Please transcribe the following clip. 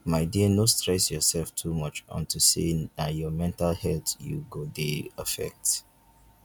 my dear no stress yourself too much unto say na your mental health you go dey affect